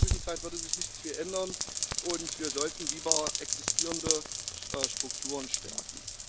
In der Zwischenzeit würde sich nicht viel ändern, und wir sollten lieber existierende Strukturen stärken.